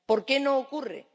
¿Por qué no ocurre?